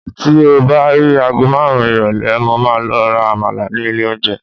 ti o ba ri agọ marun irọlẹ, mo ma lo ra àmàlà ni ilè onje